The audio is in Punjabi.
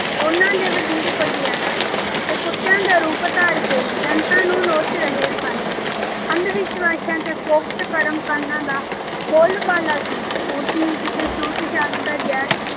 ਉਹਨਾ ਦੇ ਵਜੀਰ ਬਘਿਆੜਾਂ। ਤੇ ਕੁੱਤਿਆਂ ਦਾ ਰੂਪ ਧਾਰ ਕੇ ਜਨਤਾ ਨੂੰ ਨੋਚ ਰਹੇ ਸਨ।। ਅੰਧ ਵਿਸ਼ਵਾਸ਼ਾਂ ਅਤੇ ਫੋਕਟ ਕਰਮ ਕਾਂਡਾਂ ਦਾ ਬੋਲਬਾਲਾ ਸੀ। ਊਚ ਨੀਚ ਅਤੇ ਛੂਤ ਛਾਤ ਦਾ ਜ਼ਹਿਰ